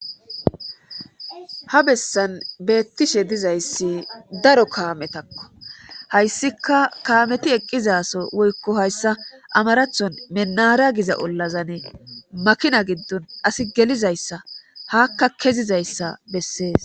ha bessan beettishe dizayssi daro kaametakko hayssika kaameti eqqizaso woykko hayssa amarathon menara giza ollazane makina giddon asi gelizayssa hakka kezizayssa bessees